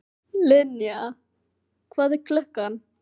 Linnea, hvað er klukkan?